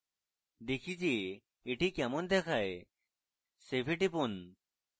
দেখি যে এটি কেমন দেখায় save এ টিপুন